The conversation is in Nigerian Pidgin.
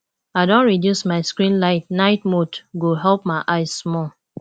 i don reduce my screen light night mode go help my eyes small